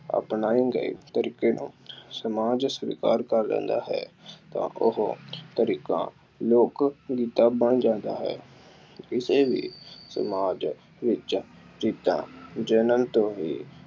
ਅਪਣਾਏ ਗਏ ਤਰੀਕੇ ਨੂੰ ਸਮਾਜ ਸਵੀਕਾਰ ਕਰ ਲੈਂਦਾ ਹੈ ਤਾਂ ਉਹ ਤਰੀਕਾ ਲੋਕ ਰੀਤਾਂ ਬਣ ਜਾਂਦਾ ਹੈ। ਕਿਸੇ ਵੀ ਸਮਾਜ ਵਿੱਚ ਰੀਤਾਂ ਜਣਨ ਤੋਂ ਹੀ